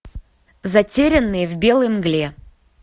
затерянные в белой мгле